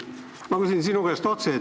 Ma küsin sinu käest otse.